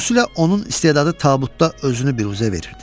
xüsusilə onun istedadı tabutda özünü biruzə verirdi.